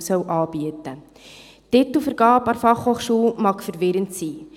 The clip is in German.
Die Titelvergabe an der BFH mag verwirrend sein.